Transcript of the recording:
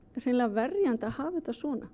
verjandi að hafa þetta svona